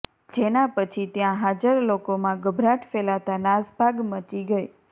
જેના પછી ત્યાં હાજર લોકોમાં ગભરાટ ફેલાતા નાસભાગ મચી ગઈ